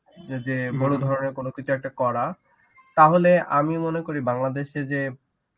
যে যে বড় ধরনের কোন কিছু একটা করা তাহলে আমি মনে করি বাংলাদেশে যে